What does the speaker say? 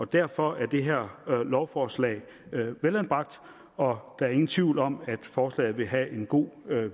derfor er det her lovforslag velanbragt og der er ingen tvivl om at forslaget vil have en god